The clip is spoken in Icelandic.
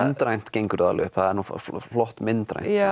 myndrænt gengur það alveg upp það var flott myndrænt